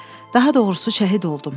Daha doğrusu şəhid oldum.